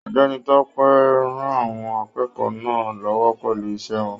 Ọ̀gbẹ́ni Tope rán àwọn akẹ́kọ̀ọ́ náà l'ọwọ pẹlú iṣẹ wọn.